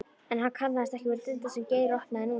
En hann kannaðist ekki við dyrnar sem Geir opnaði núna.